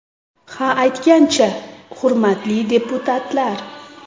Ha aytgancha, hurmatli deputatlar!